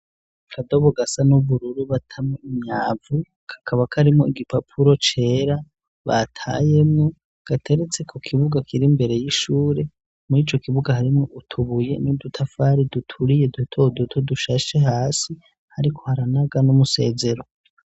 Akadobo gasa n'ubururu batamwo imyavu kakaba karimwo igipapuro cera batayemwo gateretse ko kibuga kiri imbere y'ishure muri ico kibuga harimwo utubuye n'udutafari duturiye duto doto dushashe hasi hariko haranaga n'umusezero.